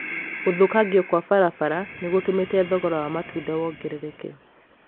gũthũkangio kwa barabara nĩ gũtũmĩte thogora wa matunda wongerereke